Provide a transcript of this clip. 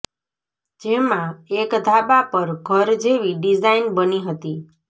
જેમાં એક ધાબા પર ઘર જેવી ડિઝાઈન બની હતી